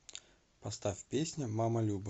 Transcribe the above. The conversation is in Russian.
поставь песня мама люба